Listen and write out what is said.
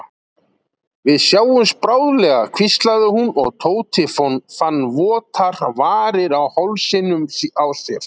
Við sjáumst bráðlega hvíslaði hún og Tóti fann votar varir á hálsinum á sér.